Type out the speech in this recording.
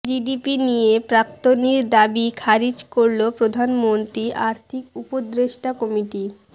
GDP নিয়ে প্রাক্তনীর দাবি খারিজ করল প্রধানমন্ত্রী আর্থিক উপদেষ্টা কমিটি